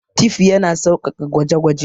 Tif yana sauƙaƙa gwaje-gwaje.